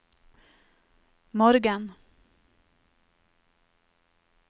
morgen